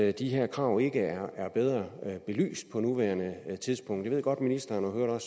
at de her krav ikke er bedre belyst på nuværende tidspunkt jeg ved godt at ministeren